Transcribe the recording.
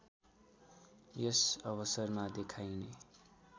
यस अवसरमा देखाइने